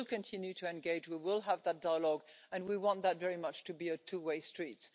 We will continue to engage we will have that dialogue, and we want that very much to be a two way street.